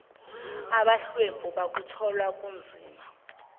abahlwempu bakuthola kunzima